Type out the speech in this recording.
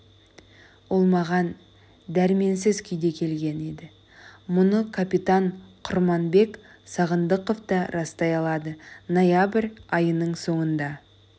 ол маған дәрменсіз күйде келген еді мұны капитан құрманбек сағындықов та растай алады ноябрь айының соңында